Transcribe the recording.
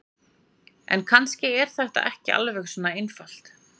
En kannski er þetta ekki alveg svona einfalt.